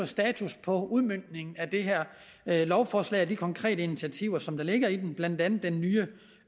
status på udmøntningen af det her lovforslag og de konkrete initiativer som ligger i det blandt andet den nye